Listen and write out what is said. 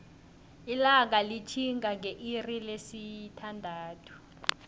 ilanga litihinga ngeilixi lesi thandathu